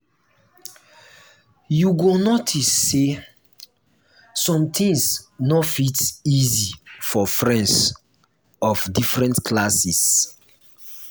you go notice say some things no fit easy for friends of different classes.